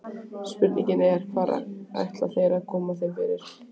Spurningin er, hvar ætla þeir að koma þeim fyrir?